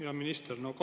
Hea minister!